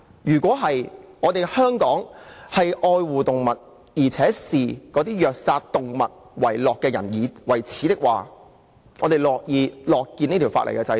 如果香港愛護動物，而且視虐殺動物的人為耻，我們是會樂見這項法例的制定。